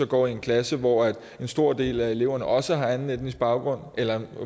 går i en klasse hvor en stor del af eleverne også har anden etnisk baggrund eller